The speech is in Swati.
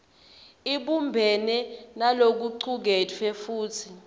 ibumbene nalokucuketfwe futsi